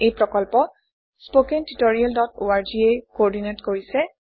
এই প্ৰকল্প httpspoken tutorialorg এ কোঅৰ্ডিনেট কৰিছে